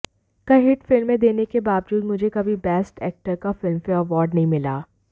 कई हिट फिल्में देने के बावजूद मुझे कभी बेस्ट एक्टर का फिल्मफेयर अवॉर्ड नहीं मिला